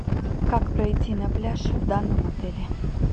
как пройти на пляж в данном отеле